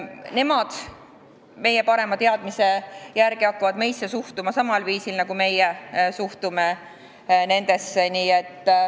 Nemad hakkavad – meie parema teadmise järgi – suhtuma meisse samal viisil, nagu meie suhtume nendesse.